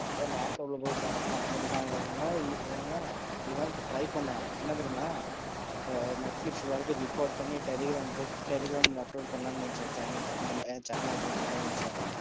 அப்பதா laptop ல போய் try பன்னே, என்ன தெரியுமா? Netflix ல வரத record பன்னி telegram ல upload பன்னலாம்னு நினைச்சேன். Channel open பன்னலாம்னு நினைச்சேன்,